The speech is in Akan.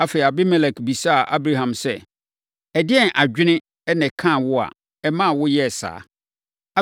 Afei, Abimelek bisaa Abraham sɛ, “Ɛdeɛn adwene na ɛkaa wo a ɛmaa woyɛɛ saa?”